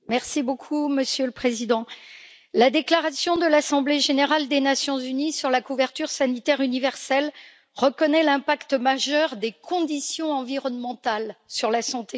Monsieur le Président, la déclaration de l'Assemblée générale des Nations unies sur la couverture sanitaire universelle reconnaît l'impact majeur des conditions environnementales sur la santé humaine.